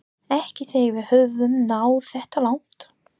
Ekki þegar við höfum náð þetta langt